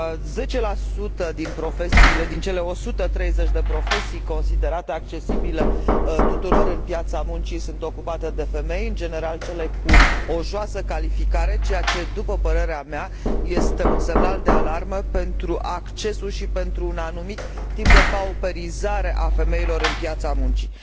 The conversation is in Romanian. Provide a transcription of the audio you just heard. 10 din cele 130 de profesii considerate accesibile tuturor pe piața muncii sunt ocupate de femei, în general cele cu o joasă calificare, ceea ce, după părerea mea, este un semnal de alarmă pentru accesul și pentru un anumit tip de pauperizare a femeilor pe piața muncii.